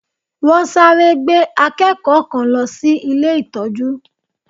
Wọ́n sáré gbé akẹ́kọ̀ọ́ kan lọ sí ilé ìtọ́jú